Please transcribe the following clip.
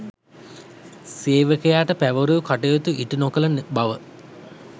සේවකයාට පැවරූ කටයුතු ඉටුකළ නොකළ බව